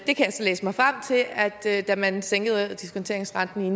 jeg så læse mig frem til at da man sænkede diskonteringsrenten i